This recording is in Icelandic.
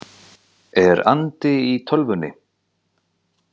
„Er andi í tölvunni?“